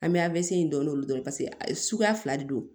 An bɛ a bɛ se dɔɔnin olu dɔrɔn paseke a ye suguya fila de don